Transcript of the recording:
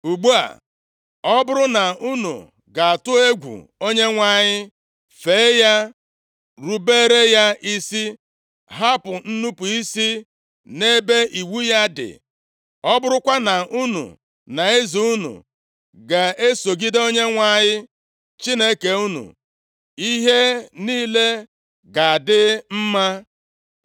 Ugbu a, ọ bụrụ na unu ga-atụ egwu Onyenwe anyị, fee ya, rubere ya isi, hapụ inupu isi nʼebe iwu ya dị, ọ bụrụkwa na unu na eze unu ga-esogide Onyenwe anyị Chineke unu, ihe niile ga-adị mma.